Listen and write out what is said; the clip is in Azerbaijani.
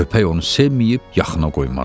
köpək onu sevməyib yaxına qoymazdı.